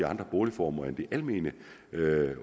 andre boligformer end de almene